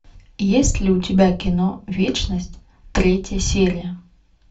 есть ли у тебя кино вечность третья серия